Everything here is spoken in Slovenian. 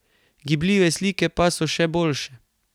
Gibljive slike pa so še boljše.